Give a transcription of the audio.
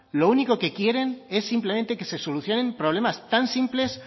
lo único que quieren es simplemente que se solucionen problemas tan simples